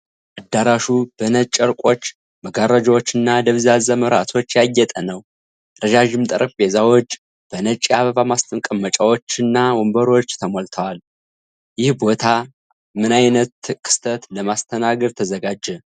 አዳራሹ በነጭ ጨርቆች፣ መጋረጃዎችና ደብዛዛ መብራቶች ያጌጠ ነው። ረዣዥም ጠረጴዛዎች በነጭ የአበባ ማስቀመጫዎችና ወንበሮች ተሞልተዋል። ይህ ቦታ ምን ዓይነት ክስተት ለማስተናገድ ተዘጋጀ?